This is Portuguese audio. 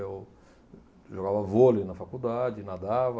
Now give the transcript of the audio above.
Eu jogava vôlei na faculdade, nadava.